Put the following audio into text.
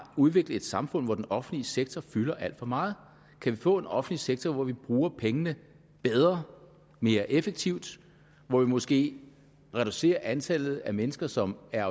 udviklet et samfund hvor den offentlige sektor fylder alt for meget kan vi få en offentlig sektor hvor vi bruger pengene bedre og mere effektivt hvor vi måske reducerer antallet af mennesker som er